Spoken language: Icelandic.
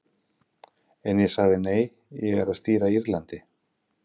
En ég sagði nei, ég er að stýra Írlandi.